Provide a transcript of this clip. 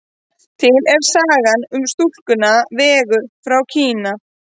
Til er saga um stúlkuna Vegu frá Kína.